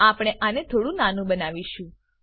આપણે આને થોડું નાનું બનાવીશું